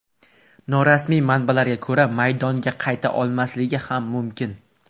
Norasmiy manbalarga ko‘ra maydonga qayta olmasligi ham mumkin.